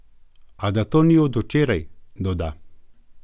A da to ni od včeraj, doda.